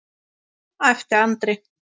æpti Andri.